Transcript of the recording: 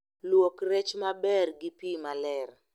Luok rech maber gi pii maler